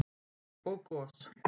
og gos.